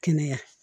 Kɛnɛya